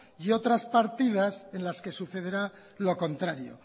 y otras partidas en las que sucederá lo contrario